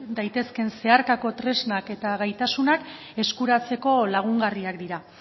daitezkeen zeharkako tresna eta gaitasunak eskuratzeko lagungarriak dira